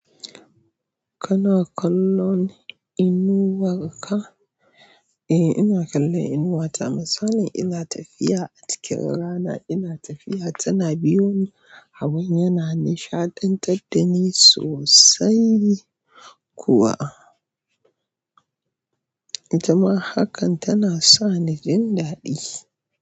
Kana kallon inuwar ka? Eh, ina kallon inuwata. Misali ina tafiya a cikin rana ina tafiya tana biyo ni. Hawan yana nishaɗantar da ni sosai kuwa. Jama'a hakan tana sa ni jin daɗi.